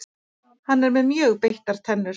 Hann er með mjög beittar tennur.